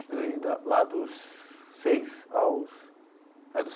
Estudei da lá dos seis aos.